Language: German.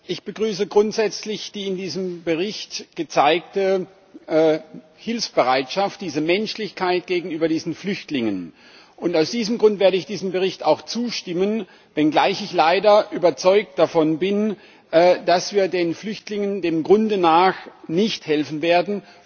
Ich begrüße grundsätzlich die in diesem Bericht gezeigte Hilfsbereitschaft, diese Menschlichkeit gegenüber diesen Flüchtlingen, und aus diesem Grund werde ich diesem Bericht auch zustimmen, wenngleich ich leider überzeugt davon bin, dass wir den Flüchtlingen im Grunde nicht helfen werden.